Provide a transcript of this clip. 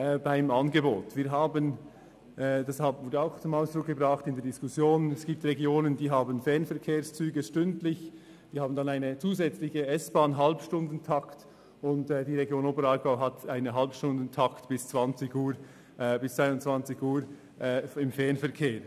Das haben wir in der Diskussion darüber zum Ausdruck gebracht, dass es Regionen mit stündlichen Fernverbindungen und zusätzlichem S-Bahn-Halbstundentakt gibt, die Region Oberaargau im Fernverkehr dagegen nur über einen Halbstundentakt bis um 22.00 Uhr verfügt.